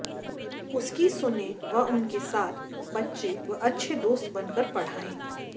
उनकी सुनें व उनके साथ बच्चे व अच्छे दोस्त बन कर पढ़ाएं